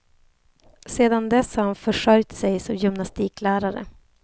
Sedan dess har han försörjt sig som gymnastiklärare.